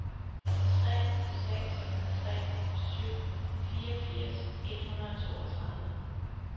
tre seks tre syv fireogfirs et hundrede og toogtredive